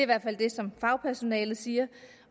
hvert fald det som fagpersonalet siger